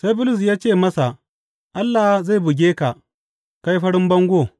Sai Bulus ya ce masa, Allah zai buge ka, kai farin bango!